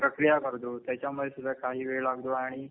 प्रक्रिया करतो. त्याच्यामुळे सुद्धा काही वेळ लागतो आणि